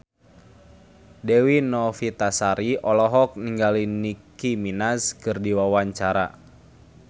Dewi Novitasari olohok ningali Nicky Minaj keur diwawancara